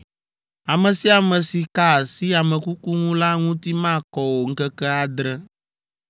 “Ame sia ame si ka asi ame kuku ŋu la ŋuti makɔ o ŋkeke adre.